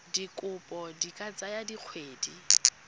dikopo di ka tsaya dikgwedi